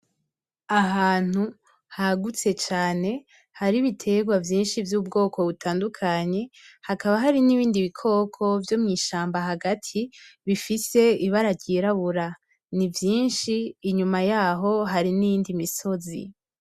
Ahantu hagutse cane, hari ibiterwa vyinshi vy'ubwoko butandukanye, hakaba hari n'ibindi bikoko vyo mw'ishamba hagati bifise ibara ryirabura. Ni vyinshi, inyuma yaho hari n'iyindi misozi.